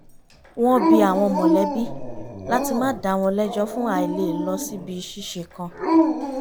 wọ́n bi àwọn mọ̀lẹ́bi láti má dàá wọn lẹ́jọ́ fún àìlè lọ síbi ṣíṣe kan